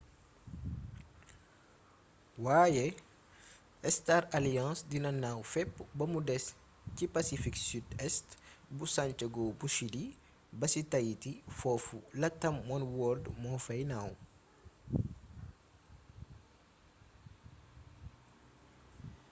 waaye star alliance dina naaw fépp bamu des ci pacifique sud-est bu santiago bu chili ba ci tahiti foofu latam oneworld moo fay naaw